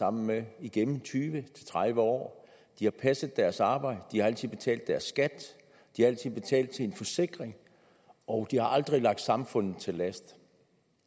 sammen med igennem tyve til tredive år de har passet deres arbejde de har altid betalt deres skat de har altid betalt til en forsikring og de har aldrig ligget samfundet til last